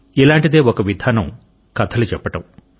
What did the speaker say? ఇలాంటిదే ఒక విధానం కథలు చెప్పడం